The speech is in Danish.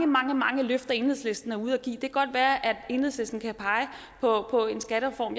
mange mange løfter enhedslisten er ude at give vil godt være at enhedslisten kan pege på en skattereform